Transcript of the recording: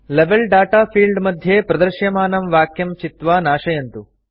level data field मध्ये प्रदृश्यमानं वाक्यं चित्वा नाशयन्तु